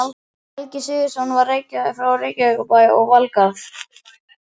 Helgi Sigurðsson frá Reykjavíkurbæ og Valgarð